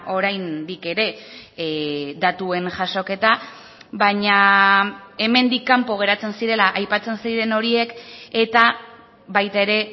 oraindik ere datuen jasoketa baina hemendik kanpo geratzen zirela aipatzen ziren horiek eta baita ere